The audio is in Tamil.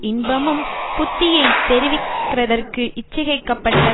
இன்பமும் புத்தியை தெரிவிக்கிற தற்கு இச்சிகைக்கப்பட்ட